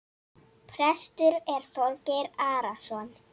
Prestur er Þorgeir Arason.